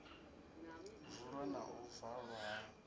vulwa na u valwa ha